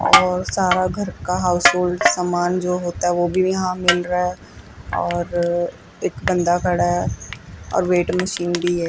और सारा घर का हाउसहोल्ड समान जो होता है वो भी यहां मिल रहा है और एक बंदा खड़ा है और वेट मशीन भी है।